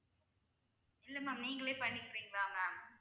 இல்ல ma'am நீங்களே பண்ணிக்கிறீங்களா ma'am